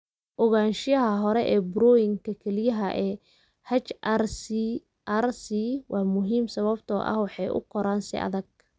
Ogaanshaha hore ee burooyinka kelyaha ee HRCRC waa muhiim sababtoo ah waxay u koraan si adag.